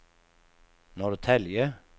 Norrtälje